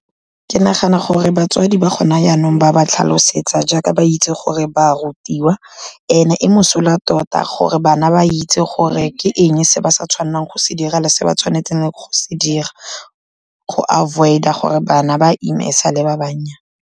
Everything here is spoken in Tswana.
Ke nagana gore batswadi ba go na jaanong ba ba tlhalosetsa jaaka ba itse gore ba rutiwa, and-e e mosola tota gore bana ba itse gore ke eng se ba sa tshwanang go se dira le se ba tshwanetseng go se dira, go avoid-a gore bana ba ime e sale ba bannyane.